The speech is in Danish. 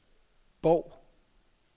Bov